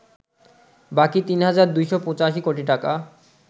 বাকি ৩ হাজার ২৮৫ কোটি টাকা